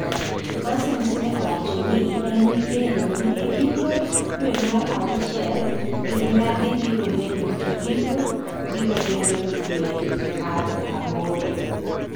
Aussems ne owacho ni en gi geno n igiko dwe mar auchiel gir nyadhi dhibobedo to giko dhibedodwe mar aboro